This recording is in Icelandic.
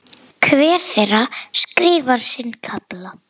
Hver þeirra skrifar sinn kafla.